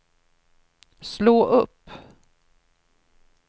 slå upp